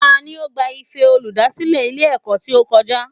Tani o gba Ife olùdásílè Ilé èkó tí ó kojá?